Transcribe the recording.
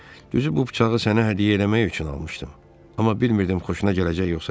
Düzü, bu bıçağı sənə hədiyyə eləmək üçün almışdım, amma bilmirdim xoşuna gələcək yoxsa yox.